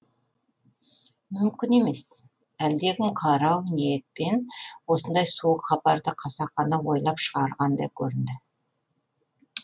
мүмкін емес әлдекім қарау ниетпен осындай суық хабарды қасақана ойлап шығарғандай көрінді